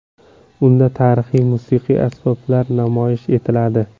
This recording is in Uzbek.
Unda tarixiy musiqiy asboblar namoyish etiladi.